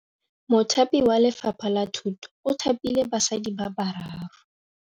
Mothapi wa Lefapha la Thutô o thapile basadi ba ba raro.